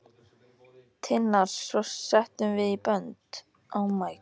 Hina tvo settum við í bönd.